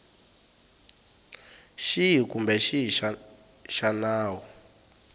xihi kumbe xihi xa nawu